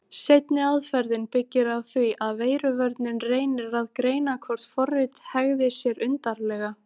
Seinni aðferðin byggir á því að veiruvörnin reynir að greina hvort forrit hegði sér undarlega.